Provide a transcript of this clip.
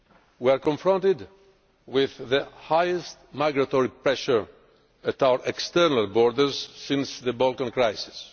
We are confronted with the highest migratory pressure at our external borders since the Balkan crisis.